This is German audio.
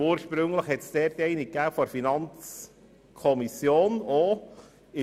Ursprünglich gab es zu diesem Thema auch eine Planungserklärung der FiKo.